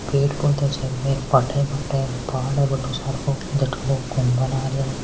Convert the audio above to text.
पेड़ पौधा छे बड़ा बाठा ही भठा है पहाड़ छे बहुत सारो अंदर लोग घुमण आरा है।